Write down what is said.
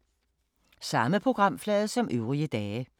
Samme programflade som øvrige dage